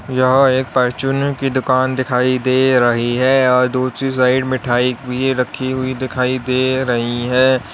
यहां एक परचून की दुकान दिखाई दे रही है और दूसरी साइड मिठाई भी रखी हुई दिखाई दे रही है।